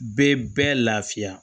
Bɛɛ bɛɛ lafiya